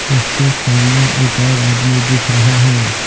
उसके सामने एक और आदमी दिख रहा है।